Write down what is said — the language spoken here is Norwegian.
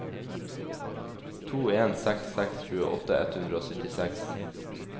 to en seks seks tjueåtte ett hundre og syttiseks